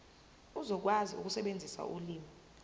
uzokwazi ukusebenzisa ulimi